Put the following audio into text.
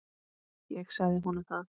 Ég sagði honum það!